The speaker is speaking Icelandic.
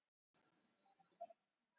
Og þeir eru til.